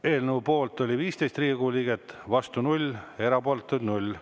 Eelnõu poolt oli 15 Riigikogu liiget, vastu 0, erapooletuid 0.